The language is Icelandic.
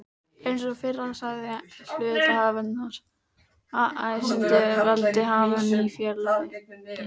Eins og fyrr sagði er hluthafafundur æðsti valdhafinn í félaginu.